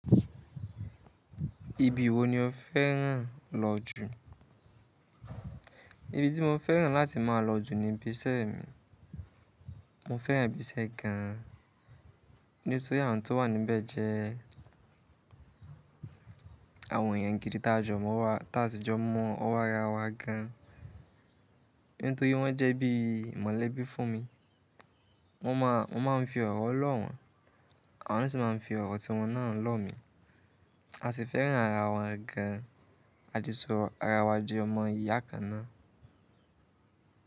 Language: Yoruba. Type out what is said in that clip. Ibi wo ni o fẹ́ràn lọ jù? Ibi tí mo fẹ́ràn láti má a lọ jù ni ibiṣẹ́ mi. Mo fẹ́ràn ibiṣẹ́ gan an nítorí àwọn tó wà níbẹ̀ jẹ́ àwọn èèyàn gidi tí a jọ mọ̀ ń wa, tí a sì jọ mọ́ ọwọ́ ara wa gan an. Nítorí wọ́n jẹ́ bí i mọ̀lẹ́bí fún mi. Mo má a, mo máa ń fi ọ̀rọ̀ lọ̀ wọ́n, àwọn sì máa ń fi ọ̀rọ̀ tí wọ́n náà lọ̀ mí. A sì fẹ́ràn ara wa gan an. A ti so ara wa di ọmọ ìyá kan náà.